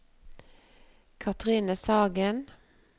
Cathrine Sagen